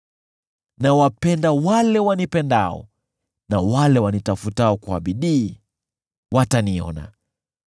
Nawapenda wale wanipendao, na wale wanitafutao kwa bidii wataniona.